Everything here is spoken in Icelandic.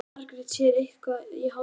Fékk Margrét sér eitthvað í hádeginu?